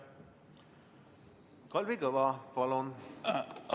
Kalvi Kõva, palun!